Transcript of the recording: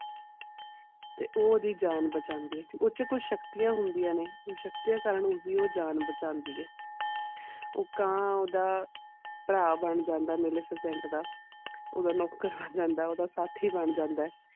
ਤੇ ਆਦਿ ਜਾਨ ਬਚਾਂਦੀ ਇਹ ਉਡ ਛ ਕੋਈ ਸ਼ਕਤੀਆਂ ਹੋਂਦਿਆ ਨੇ ਸ਼ਕਤੀਆਂ ਕਾਰਨ ਹੀ ਆਦਿ ਜਾਨ ਬਚਾਂਦੀ ਇਹ ਉਹ ਕਾਂ ਓਦਾਂ ਪੈਰਾ ਬਣ ਜਾਂਦਾ ਮਿਲਸੁਸੰਦ ਦਾ ਓਦਾਂ ਨੌਕਰ ਬਣ ਜਾਂਦਾ ਓਦਾਂ ਸਾਥੀ ਬਣ ਜਾਂਦਾ.